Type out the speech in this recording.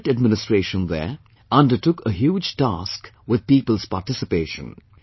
The district administration there undertook a huge task with people's participation